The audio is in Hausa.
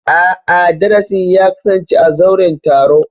A'a, darasin ya kasance a zauren taro.